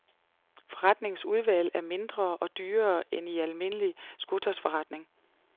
Forretningens udvalg er mindre og dyrere end i en almindelig skotøjsforretning.